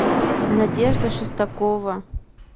надежда шестакова